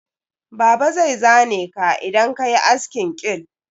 Baba zai zane ka idan ka yi askin quill.